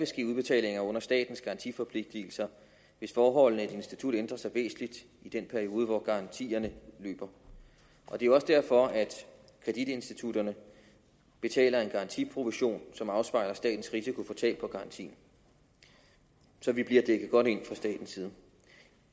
ske udbetalinger under statens garantiforpligtelser hvis forholdene i et institut ændrer sig væsentligt i den periode hvor garantierne løber det er jo også derfor at kreditinstitutterne betaler en garantiprovision som afspejler en statens risiko for tab på garantien så vi bliver dækket godt ind fra statens side